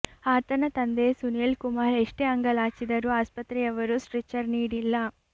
ಆತನ ತಂದೆ ಸುನೀಲ್ ಕುಮಾರ್ ಎಷ್ಟೇ ಅಂಗಲಾಚಿದರೂ ಆಸ್ಪತ್ರೆಯವರು ಸ್ಟ್ರೆಚರ್ ನೀಡಿಲ್ಲ